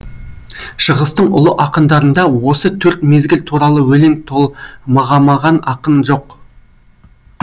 шығыстың ұлы ақындарында осы төрт мезгіл туралы өлең тол мағамаған ақын жоқ